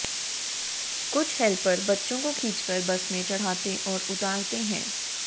कुछ हैल्पर बच्चों को खींचकर बस में चढ़ाते और उतारते हैं